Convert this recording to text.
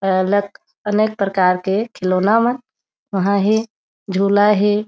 अउ आलक आलक प्रकार के खिलौना मन वहाँ हे झोला हे।